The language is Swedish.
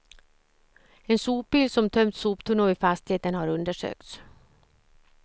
En sopbil som tömt soptunnor vid fastigheten har undersökts.